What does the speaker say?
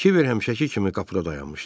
Kiber həmişəki kimi qapıda dayanmışdı.